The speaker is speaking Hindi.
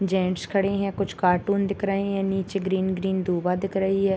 जेंट्स खड़े हैं कुछ कार्टून दिख रहें हैं निचे ग्रीन ग्रीन धुंवा दिख रही है।